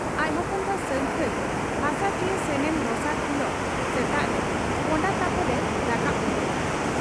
ᱟᱡ ᱦᱚᱯᱚᱱ ᱵᱟ ᱥᱟᱹᱝᱠᱷᱟᱹᱭ ᱦᱟᱥᱟ ᱪᱤᱭᱟᱹ ᱥᱮᱱᱮᱱ ᱫᱚᱥᱟᱨ ᱦᱤᱞᱚᱜ ᱥᱮᱛᱟᱜᱨᱮ ᱯᱚᱸᱰᱟᱛᱟᱯᱚᱞ ᱮ ᱨᱟᱠᱟᱵ ᱜᱚᱫᱚᱜ ᱠᱟᱱᱟ ᱾